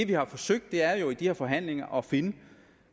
vi har forsøgt er jo i de her forhandlinger at finde